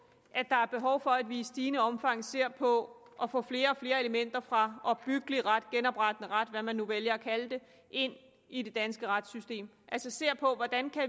at der er behov for at vi i stigende omfang ser på at få flere og flere elementer fra opbyggelig ret eller genoprettende ret hvad man nu vælger at kalde det ind i det danske retssystem altså ser på hvordan